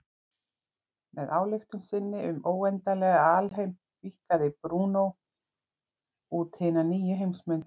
Með ályktun sinni um óendanlegan alheim víkkaði Brúnó út hina nýju heimsmynd.